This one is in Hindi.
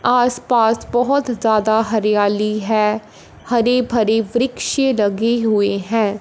आस पास बहोत ज्यादा हरियाली है हरि भरी वृक्ष लगे हुए हैं।